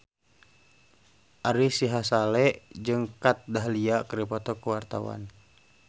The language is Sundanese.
Ari Sihasale jeung Kat Dahlia keur dipoto ku wartawan